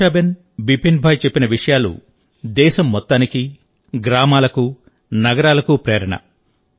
వర్షాబెన్ బిపిన్ భాయ్ చెప్పిన విషయాలు దేశం మొత్తానికి గ్రామాలకు నగరాలకు ప్రేరణ